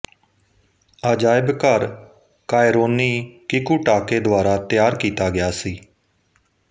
ਅਜਾਇਬਘਰ ਕਾਇਰੋਨੀ ਕਿਕੂਟਾਕੇ ਦੁਆਰਾ ਤਿਆਰ ਕੀਤਾ ਗਿਆ ਸੀ